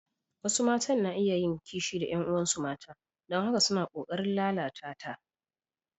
Wasu matan na iya yin kishi da ƴan uwansu mata don haka suna ƙoƙarin lalata ta.